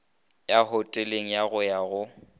ya hoteleng go ya go